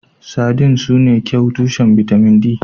Sardines sune kyau tushen bitamin D.